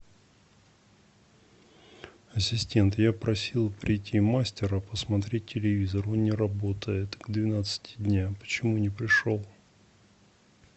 ассистент я просил придти мастера посмотреть телевизор он не работает в двенадцать дня почему не пришел